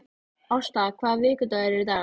Ásta, hvaða vikudagur er í dag?